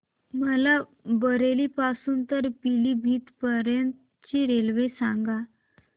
मला बरेली पासून तर पीलीभीत पर्यंत ची रेल्वे सांगा